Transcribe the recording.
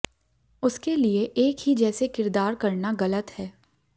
उसके लिए एक ही जैसे किरदार करना गलत है